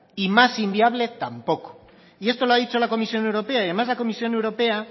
y más inviable tampoco y esto lo ha dicho la comisión europea y además la comisión europea